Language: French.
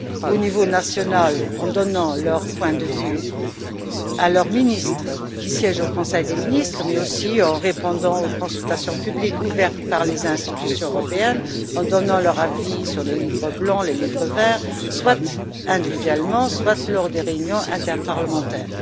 Au niveau national, en donnant leur point de vue à leurs ministres, qui siègent au Conseil des ministres, mais aussi en répondant aux consultations publiques ouvertes par les institutions européennes ou en donnant leur avis sur les livres blancs et les livres verts, soit individuellement, soit lors des réunions interparlementaires.